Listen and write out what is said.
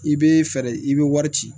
I bɛ fɛɛrɛ i bɛ wari ci